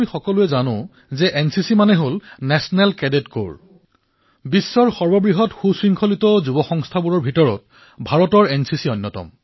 আমি সকলোৱে জানো যে এনচিচি অৰ্থাৎ নেচনেল কেডেট কৰ্পছ্ বিশ্বৰ সবাতোকৈ বৃহৎ ঐক্যবেশীয় তৰুণ সংস্থাসমূহৰ ভিতৰত ভাৰতৰ এনচিচি অন্যতম